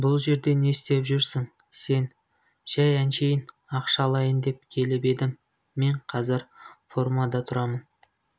бұл жерде істеп жүресің сен жәй әншейін ақша алайын деп келіп едім мен қазір фермада тұрамын